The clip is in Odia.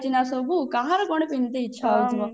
ଚାଲିଛି ନା ସବୁ କାହାର କଣ ପିନ୍ଧିବା ଇଛା ହଉଥିବ